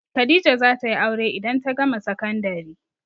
Khadijah za ta yi aure idan ta gama sakandari.